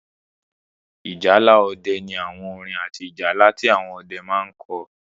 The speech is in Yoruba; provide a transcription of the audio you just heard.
Ìjálá ọdẹ ní àwọn orin àti ìjálá tí àwọn ọdẹ máa n kọ